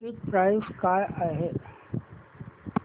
ticket price काय आहे